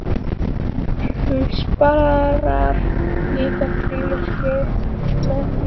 Hún sparar líka frímerkin með því móti.